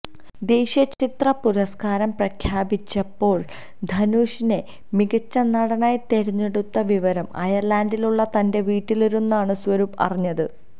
ദേശീയ ചലച്ചിത്ര പുരസ്ക്കാരം പ്രഖ്യാപിച്ചപ്പോൾ ധനുഷിനെ മികച്ച നടനായി തിരെഞ്ഞെടുത്ത വിവരം അയർലണ്ടിലുള്ള തന്റെ വീട്ടിലിരുന്നാണ് സ്വരൂപ് അറിഞ്ഞത്